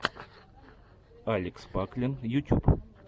алекс паклин ютюб